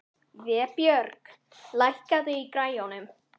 Vébjörg, lækkaðu í græjunum.